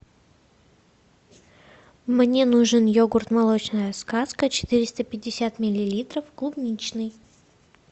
мне нужен йогурт молочная сказка четыреста пятьдесят миллилитров клубничный